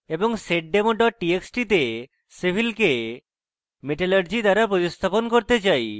এবং seddemo txt txt তে civil কে metallurgy দ্বারা প্রতিস্থাপণ করতে চাই